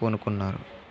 పూనుకున్నారు